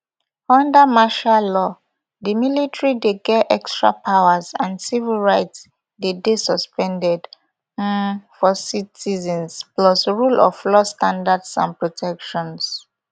under martial law di military dey get extra powers and civil rights dey dey suspended um for citizens plus rule of law standards and protections